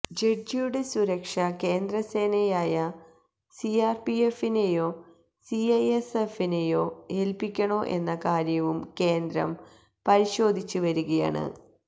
ജഡ്ജിയുടെ സുരക്ഷ കേന്ദ്രസേനയായ സിആര്പിഎഫിനെയോ സിഐഎസ്എഫിനേയോ ഏല്പിക്കണോ എന്ന കാര്യവും കേന്ദ്രം പരിശോധിച്ച് വരികയാണ്